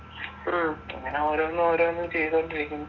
ഇങ്ങനെ ഓരോന്ന് ഓരോന്ന് ചെയ്തോണ്ട് ഇരിക്കും